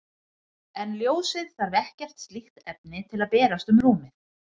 En ljósið þarf ekkert slíkt efni til að berast um rúmið.